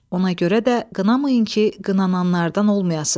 Ona görə də qınamayın ki, qınananlardan olmayasız.